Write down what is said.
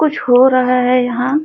कुछ हो रहा है यहाँ --